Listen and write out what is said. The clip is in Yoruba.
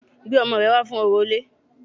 Gbé ọmọ rẹ wá fún orò ilé